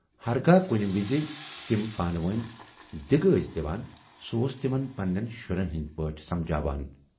ہرگاہ کُنہِ وِزِ تِم پانہٕ وٲنۍ دِگہٕ ٲسۍ دِوان، سُہ اوس تِمن پنہٕ نٮ۪ن شُرٮ۪ن ہٕندۍ پٲٹھۍ سمجھاوان۔